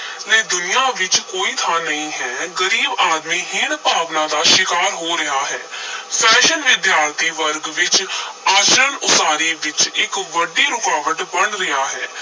ਲਈ ਦੁਨੀਆਂ ਵਿਚ ਕੋਈ ਥਾਂ ਨਹੀਂ ਹੈ, ਗਰੀਬ ਆਦਮੀ ਹੀਣ-ਭਾਵਨਾ ਦਾ ਸ਼ਿਕਾਰ ਹੋ ਰਿਹਾ ਹੈ fashion ਵਿਦਿਆਰਥੀ ਵਰਗ ਵਿਚ ਆਚਰਨ ਉਸਾਰੀ ਵਿਚ ਇਕ ਵੱਡੀ ਰੁਕਾਵਟ ਬਣ ਰਿਹਾ ਹੈ।